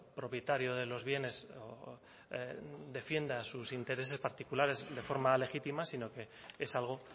propietario de los bienes defienda sus intereses particulares de forma legítima sino que es algo